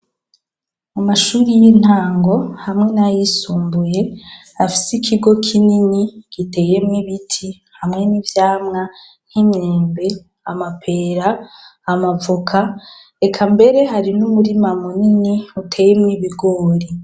Amashure y'intango hamwe n'ayisumbuye afise ikigo kinini giteyemwo ibiti hamwe n'ivyamwa nk': imyembe , amapera, amavoka eka mbere hari n'umurima munini uteyenwo ibigori.